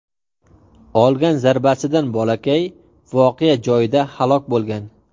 Olgan zarbasidan bolakay voqea joyida halok bo‘lgan.